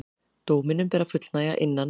Dóminum ber að fullnægja innan